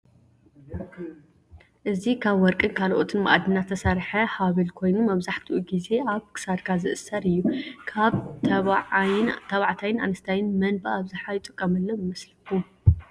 እዚ ካብ ወርቂን ካልኦት መአድናትን ዝተሰርሐ ሐበል ኮይኑ መብዘሐትኡ ግዜ አብ ክሳድካ ዝእሰር እዩ። ካብ ተባዓይን አነስታይን መን ብአብዘሐ ይጥቀመሉ ይመስለኩም።